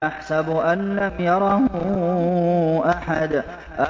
أَيَحْسَبُ أَن لَّمْ يَرَهُ أَحَدٌ